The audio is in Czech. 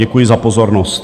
Děkuji za pozornost.